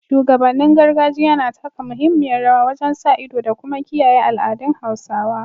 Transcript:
Shugabannin gargajiya na taka muhimmiyar rawa wajen sa ido da kuma kiyaye al’adun Hausawa